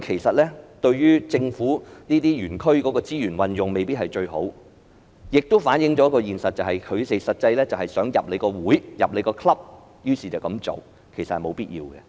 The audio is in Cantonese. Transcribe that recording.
此舉對於政府這些園區的資源運用未必是最好，亦反映了一個現實，他們實際上想加入這個會，於是這樣做，但其實沒有必要。